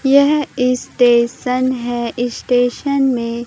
यह इस स्टेशन है इस स्टेशन में--